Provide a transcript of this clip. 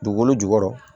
Dugukolo jukɔrɔ